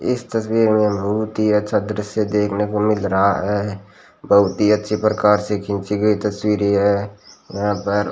इस तस्वीर में बहुत ही अच्छा दृश्य देखने को मिल रहा है बहुत ही अच्छे प्रकार से खींची गई तस्वीर ये है यहां पर --